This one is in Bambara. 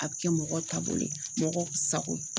A bɛ kɛ mɔgɔ taabolo sago ye.